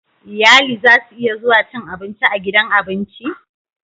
Iyali zasu iya zuwa cin abinci a gidan abinci